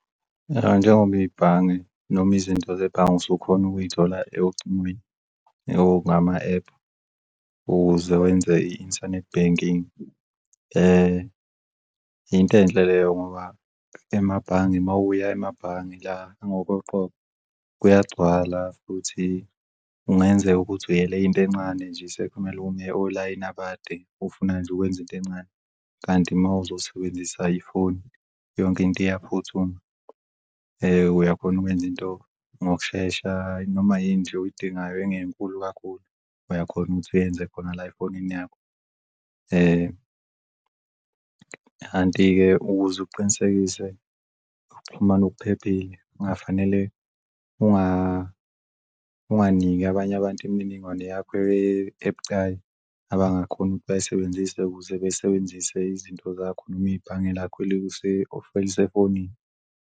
Ya, njengoba ibhange noma izinto zebhange usukhona ukuyithola ocingweni or ngama-ephu ukuze wenze i-internet banking, into enhle leyo ngoba emabhange mawuya emabhange la ngokoqobo kuyagcwala futhi kungenzeka ukuthi uyele into encane nje sekumele ume olayini abade ufuna nje ukwenza into encane. Kanti mawuzosebenzisa ifoni yonke into iyaphuthuma, uyakhona ukwenza into ngokushesha noma yini nje oyidingayo engenkulu kakhulu uyakhona ukuthi uyenze khona la efonini yakho. Kanti-ke ukuze uqinisekise okuphephile kungafanele unganika abanye abantu imininingwane yakho ebucayi abangakhoni ukuthi bayisebenzise ukuze besebenzise izinto zakho noma ibhange lakho elisefonini.